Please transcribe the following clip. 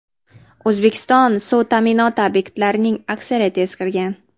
O‘zbekiston suv ta’minoti obyektlarining aksariyati eskirgan.